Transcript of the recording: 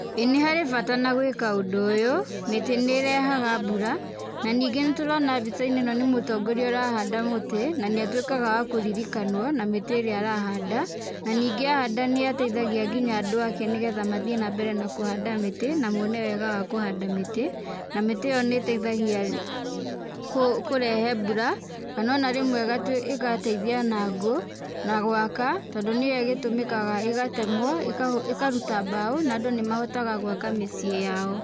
Ĩĩ nĩ harĩ bata na gwĩka ũndũ ũyũ. Mĩtĩ nĩ ĩrehaga mbura, na ningĩ nĩ tũrona mbica-inĩ ĩno nĩ mũtongoria ũrahanda mũti, na nĩ atuĩkaga wa kũririkanwo na mĩtĩ ĩrĩa arahnda. Na ningĩ ahanda nĩ ateithagia nginya andũ aake nĩ getha mathiĩ na mbere na kũhanda mĩtĩ, na mone wega wa kũhanda mĩtĩ. Na mĩtĩ ĩyo nĩ ĩteithagia kũrehe mbura kana ona rĩmwe ĩgateithia na ngũ, na gwaka tondũ nĩyo ĩgĩtũmĩkaga ĩgatemwo ĩkaruta mbaũ na andũ nĩ mahotaga gwaka mĩciĩ yao.